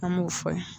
An m'o fɔ